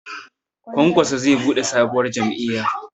Kwankwaso zai buɗe sabuwar jam'iyya